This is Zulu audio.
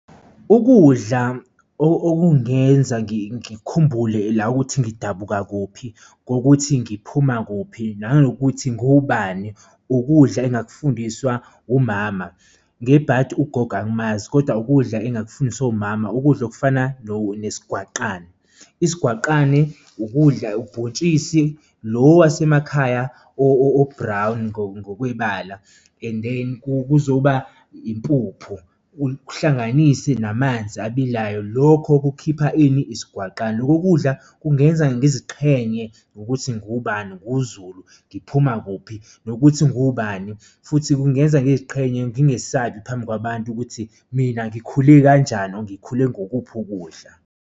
Ukudla okungenza ngikhumbule la ukuthi ngidabuka kuphi ngokuthi ngiphuma kuphi nanokuthi nguwubani, ukudla engakufundiswa umama, ngebhadi ugogo angimazi kodwa ukudla engakufundisa umama. Ukudla okufana nesigwaqane, isigwaqane ukudla ubhontshisi lo wasemakhaya o-brown ngokwebala and then kuzoba impuphu uwuhlanganise namanzi abilayo, lokho kukhipha ini? Isigwaqane. Loko kudla kungenza ngiziqhenye ngokuthi ngubani nguZulu ngiphuma kuphi nokuthi ngubani, futhi kungenza ngiziqhenya ngingesabi phambi kwabantu ukuthi mina ngikhule kanjani, ngikhule ngokuphi ukudla futhi.